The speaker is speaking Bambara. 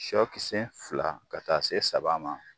Sɔkisɛ fila ka taa se saba ma